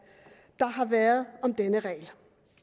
der har været om denne regel